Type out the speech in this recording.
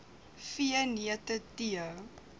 v neute tee